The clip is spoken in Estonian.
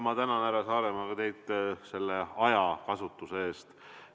Ma tänan, härra Saaremäe, teid selle ajakasutuse eest!